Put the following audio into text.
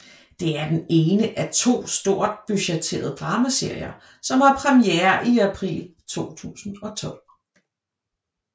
Det er den ene af to stort budgetterede dramaserier som har premiere i april 2012